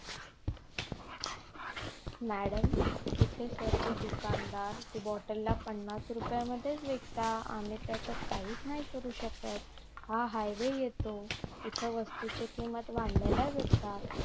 madam इथे सर्वे दुकादार ती बॉटल ला पन्नास रुपयालाच विकतात आम्ही त्याच्यात काहीच नाही करू शकत हा हायवे येतो इथे वस्तू च्या किंमत वाढलेल्याच असतात